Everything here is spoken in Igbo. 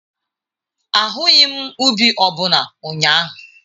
Ahụghị m ubi ọ bụla ụnyaahụ.